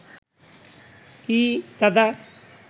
কী দাদা